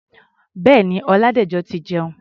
Bẹ́ẹ̀ni, Ọládẹ̀jọ ti jẹun.